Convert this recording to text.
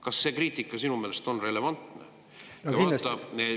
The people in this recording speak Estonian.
Kas see kriitika on sinu meelest relevantne?